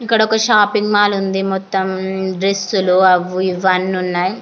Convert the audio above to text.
ఇక్కడ ఒక shopping mall ఉంది. మొత్తం డ్రస్ లు అవి ఏవి అన్నీ ఉన్నాయ్.